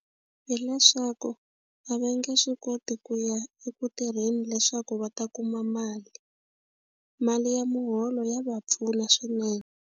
Hileswaku a va nge swi koti ku ya eku tirheni leswaku va ta kuma mali mali ya muholo ya va pfuna swinene.